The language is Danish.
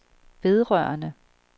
vedrørende